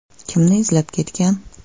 Kimni izlab ketgan?